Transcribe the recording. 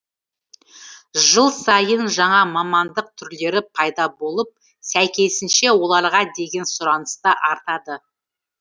жыл сайын жаңа мамандық түрлері пайда болып сәйкесінше оларға деген сұраныс та артады